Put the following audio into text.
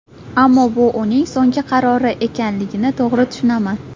Ammo bu uning so‘nggi qarori ekanligini to‘g‘ri tushunaman.